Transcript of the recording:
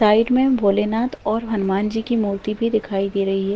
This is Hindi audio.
साइड में भोले नाथ और हनुमान जी की मूर्ति भी दिखाई दे रही है।